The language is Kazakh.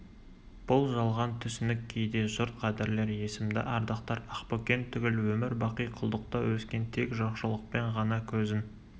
бұл жалған түсінік кейде жұрт қадірлер есімді ардақтар ақбөкен түгіл өмір бақи құлдықта өскен тек жоқшылықпен ғана көзін